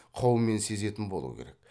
қаумен сезетін болу керек